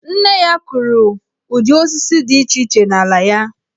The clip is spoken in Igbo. Nne ya kụrụ ụdị osisi dị iche iche n'ala ya.